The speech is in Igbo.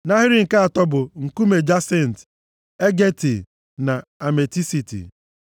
Nʼahịrị nke atọ bụ: nkume jasint, ageeti na ametisiti.